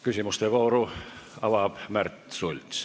Küsimuste vooru avab Märt Sults.